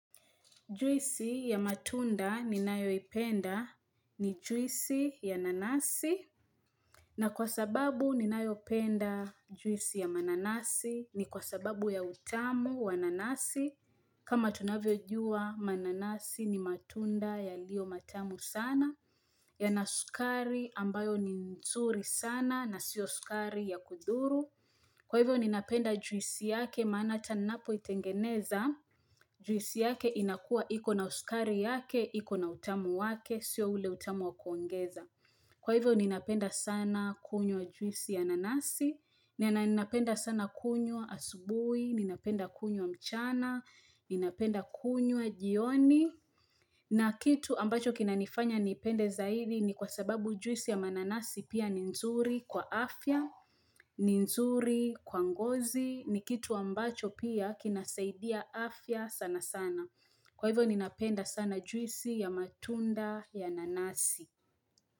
Juisi ya matunda ni nayo ipenda ni juisi ya nanasi na kwa sababu ni nayo penda juisi ya mananasi ni kwa sababu ya utamu wa nanasi. Kama tunavyo jua mananasi ni matunda yalio matamu sana yana sukari ambayo ni nzuri sana na siyo sukari ya kudhuru. Kwa hivyo ninapenda juisi yake maana hata ninapo itengeneza, juisi yake inakua ikona uskari yake, ikona utamu wake, sio ule utamu wa kuongeza. Kwa hivyo ninapenda sana kunywa juisi ya nanasi, ninapenda sana kunywa asubuhi, ninapenda kunywa mchana, ninapenda kunywa jioni. Na kitu ambacho kina nifanya ni ipende zaidi ni kwa sababu juisi ya mananasi pia ni nzuri kwa afya, ni nzuri kwa ngozi ni kitu ambacho pia kina saidia afya sana sana. Kwa hivyo ni napenda sana juisi ya matunda ya nanasi.